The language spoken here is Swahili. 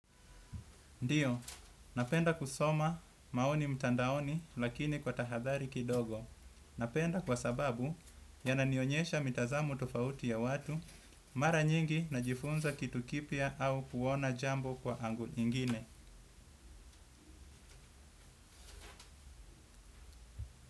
Ndiyo, napenda kusoma maoni mtandaoni lakini kwa tahadhari kidogo. Napenda kwa sababu yananionyesha mitazamo tofauti ya watu, mara nyingi najifunza kitu kipya au kuona jambo kwa angle ingine.